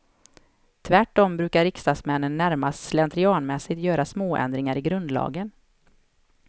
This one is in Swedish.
Tvärtom brukar riksdagsmännen närmast slentrianmässigt göra småändringar i grundlagen.